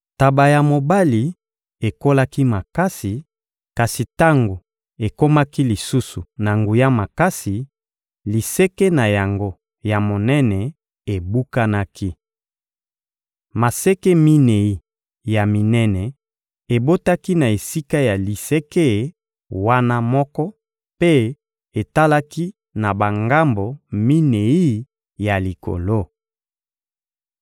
Ntaba ya mobali ekolaki makasi; kasi tango ekomaki lisusu na nguya makasi, liseke na yango ya monene ebukanaki. Maseke minei ya minene ebotaki na esika ya liseke wana moko mpe etalaki na bangambo minei ya likolo.